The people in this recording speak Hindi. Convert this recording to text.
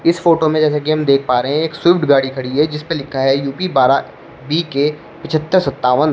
इस फोटो में जैसा कि हम देख पा रहे हैं एक स्विफट गाड़ी खड़ी है जिसपे लिखा है यूपी बारह बीके पचहत्तर सत्तावन।